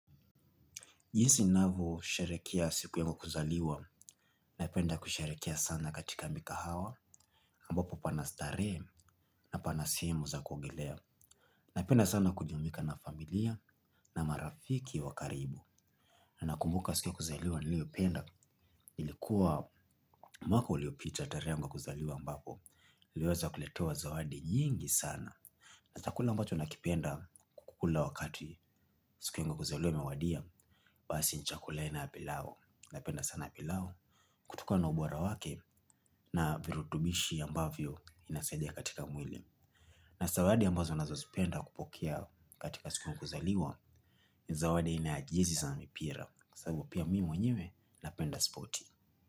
Jinsi ninavyosherekea siku yangu ya kuzaliwa, napenda kusherekea sana katika mikahawa, ambapo pana starehe na pana simu za kuogelea. Napenda sana kujumuika na familia na marafiki wa karibu. Na nakumbuka siku ya kuzaliwa niliopenda, ilikuwa mwaka uliopita tarehe ama kuzaliwa ambapo, niliweza kuletewa zawadi nyingi sana. Na chakula ambacho nakipenda kukula wakati siku yangu ya kuzaliwa imewadia, basi ni chakula aina ya pilau, napenda sana pilau, kutokana na ubora wake na virutubishi ambavyo inasaidia katika mwili. Na zawadi ambazo nazozipenda kupokea katika siku yangu ya kuzaliwa, ni zawadi aina ya jezi za mipira, kwa sababu pia mimi mwenyewe napenda spoti.